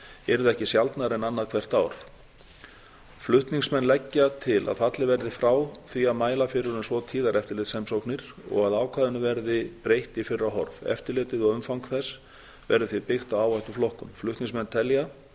yrðu ekki sjaldnar en annað hvert ár flutningsmenn leggja til að fallið verði frá því að mæla fyrir um svo tíðar eftirlitsheimsóknir og að ákvæðinu verði breytt í fyrra horf eftirlitið og umfang þess verði því byggt á áhættuflokkun flutningsmenn telja